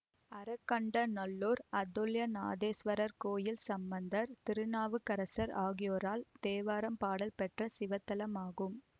அறகண்டநல்லூர் அதுல்யநாதேஸ்வரர் கோயில் சம்பந்தர் திருநாவுக்கரசர் ஆகியோரால் தேவாரம் பாடல் பெற்ற சிவத்தலமாகும்